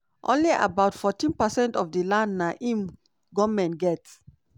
only about 14 percent of di land na im goment get.